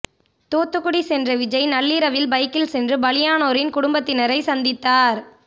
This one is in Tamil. தூத்துக்குடி சென்ற விஜய் நள்ளிரவில் பைக்கில் சென்று பலியானோரின் குடும்பத்தினரை சந்தித்தார்